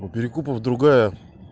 у перекупов другая